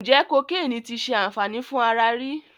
Ǹjẹ́ kokéènì ti ṣe àǹfàní fún ara rí?